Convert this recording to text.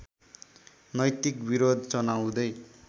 नैतिको विरोध जनाउँदै